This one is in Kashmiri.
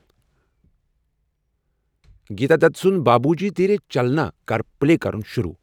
گیتا دت سُند بابوجی دیرے چلنا کر پلے کرُن شروع ۔